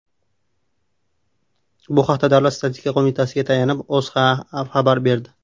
Bu haqda Davlat statistika qo‘mitasiga tayanib, O‘zA xabar berdi .